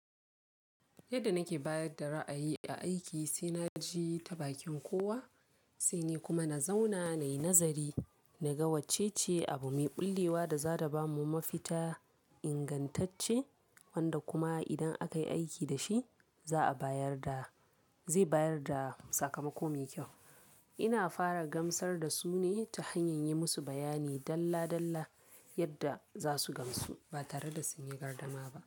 Yadda nake bayar da ra'ayi a aiki, sai na je ta bakin kowa, sai ni kuma na zauna nayi nazari, na ga wacce ce abu mai ɓullewa da za ta ba mu mafita ingantacce wanda kuma idan aka yi aiki da shi, za a bayar da, zai bayar da sakamako mai kyau. Ina fara gamsar da su ne ta hanyar yi musu bayani dalla dalla yadda za su gamsu ba tare da sun yi gardama ba.